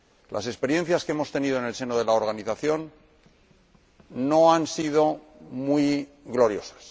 Las experiencias que hemos tenido en el seno de la Organización no han sido muy gloriosas.